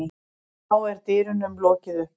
Þá er dyrum lokið upp.